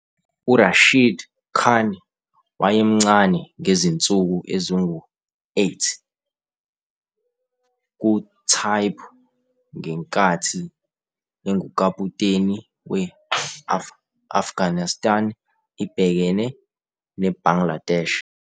URashid Khan wayemncane ngezinsuku ezingu - 8 kuTaibu ngenkathi engukaputeni we - Afghanishtan ibhekene neBangladesh.